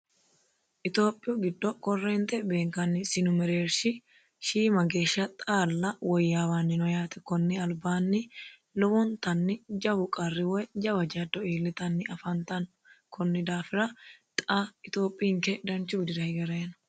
Itiyophiyu giddo korreente beenkanni mereerishi xaalla hala'layi noo konni daafira xa itiyopinke danchu widira hige harayi no.